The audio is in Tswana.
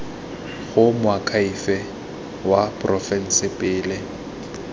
go moakhaefe wa porofense pele